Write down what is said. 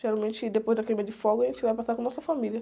Geralmente, depois da queima de fogos, a gente vai passar com a nossa família.